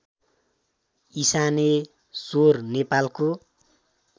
इशानेश्वर नेपालको